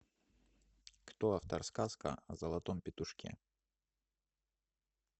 кто автор сказка о золотом петушке